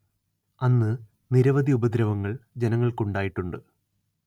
അന്ന് നിരവധി ഉപദ്രവങ്ങൾ ജനങ്ങൾക്കുണ്ടായിട്ടുണ്ട്